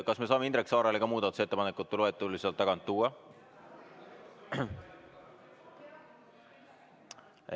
Kas me saame Indrek Saarele ka muudatusettepanekute loetelu sealt tagant tuua?